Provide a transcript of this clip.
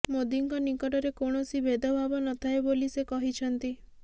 ମୋଦୀଙ୍କ ନିକଟରେ କୌଣସି ଭେଦଭାବ ନଥାଏ ବୋଲି ସେ କହିଛନ୍ତି